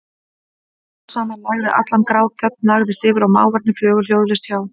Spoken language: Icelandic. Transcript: Smám saman lægði allan grát, þögn lagðist yfir og máfarnir flugu hljóðalaust hjá.